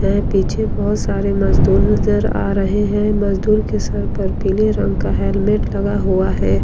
में पीछे बहुत सारे मजदूर नजर आ रहे हैं मजदूर के सर पर पीले रंग का हेलमेट लगा हुआ है।